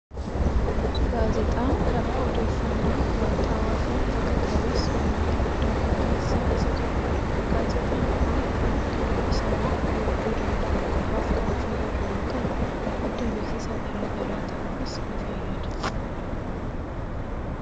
Gaazexaan karaa odeeffannoon wayitaawaa fi haqa qabeessi uummataaf darbu keessaa isa tokkodha. Gaazexaan kun namoota dubbisanii hubachuu danda'an qofaaf kan fayyadu yoo ta'u, madda beeksisa gara garaa ta'uufis ni fayyada.